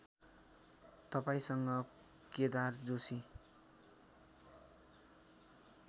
तपाईँसँग केदार जोशी